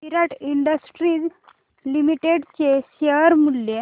विराट industries limited चे share मूल्य